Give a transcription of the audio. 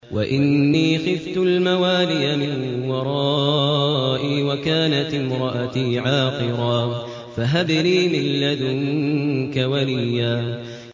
وَإِنِّي خِفْتُ الْمَوَالِيَ مِن وَرَائِي وَكَانَتِ امْرَأَتِي عَاقِرًا فَهَبْ لِي مِن لَّدُنكَ وَلِيًّا